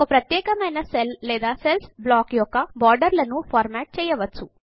ఒక ప్రత్యేకమైన సెల్ లేదా సెల్ల్స్ బ్లాక్ యొక్క బోర్డర్లను ఫార్మాట్ చేయవచ్చు